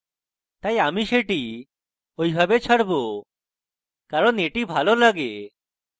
তাই আমি সেটি ঐভাবে ছাড়ব কারণ এটি ভালো লাগে